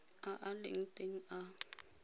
a a leng teng a